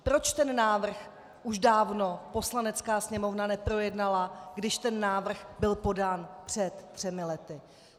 Proč ten návrh už dávno Poslanecká sněmovna neprojednala, když ten návrh byl podán před třemi lety?